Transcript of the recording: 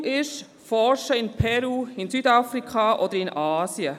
Das Ziel ist das Forschen in Peru, in Südafrika oder in Asien.